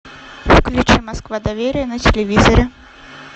включи москва доверие на телевизоре